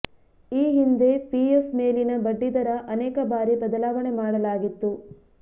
ಈ ಹಿಂಧೆ ಪಿಎಫ್ ಮೇಲಿನ ಬಡ್ಡಿದರ ಅನೇಕ ಬಾರಿ ಬದಲಾವಣೆ ಮಾಡಲಾಗಿತ್ತು